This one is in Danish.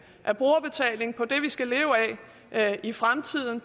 af brugerbetaling på det vi skal leve af i fremtiden